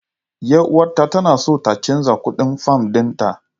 Yar uwata tana so ta canza kuɗin fam ɗinta.